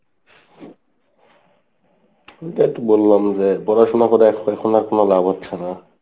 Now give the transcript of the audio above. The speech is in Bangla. ওইটাই তো বললাম যে পড়াশোনা করে এখন এখন আর কোনো লাভ হচ্ছে না।